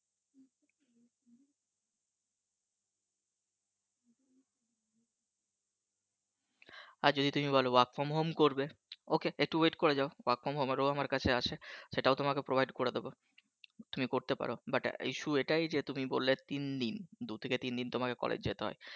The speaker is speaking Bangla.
আর যদি তুমি বলো Work From Home করবে Ok, একটু Wait করে যাও Work From Home ও আমার কাছে আছে। সেটাও তোমাকে Provide করে দেব তুমি করতে পারো But Issue এটাই যে তুমি বললে তিন দিন দু থেকে তিন দিন তোমাকে College যেতে হয়